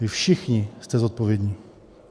Vy všichni jste zodpovědní.